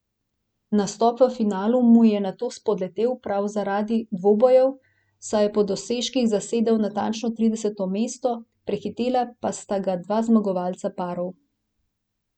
Nastop v finalu mu je nato spodletel prav zaradi dvobojev, saj je po dosežkih zasedel natančno trideseto mesto, prehitela pa sta ga dva zmagovalca parov.